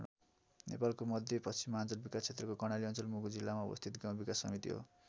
नेपालको मध्यपश्चिमाञ्चल विकास क्षेत्रको कर्णाली अञ्चल मुगु जिल्लामा अवस्थित गाउँ विकास समिति हो।